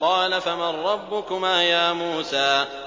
قَالَ فَمَن رَّبُّكُمَا يَا مُوسَىٰ